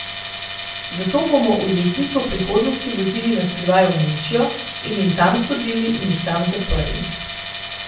Zato bomo ujetnike v prihodnosti vozili na skrivaj v Nemčijo in jim tam sodili in jih tam zaprli.